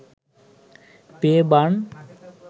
পেয়ে বাণ